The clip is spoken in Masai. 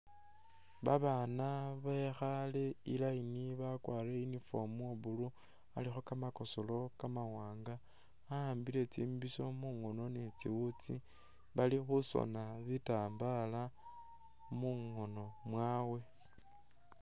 Babaana bekhale iline bakwarire uniform uwa blue, alikho kamakosola kamawanga bawambile tsimbisho mungono ni tsiwuti bali khusona bitambala mungono mwawe.